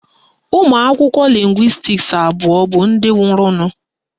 Ụmụakwụkwọ lịngwịstis abụọ bụ ndị nwụrụnụ.